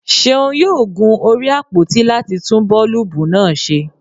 Seun yoo gun orí àpoti lati tun boolubu naa ṣe.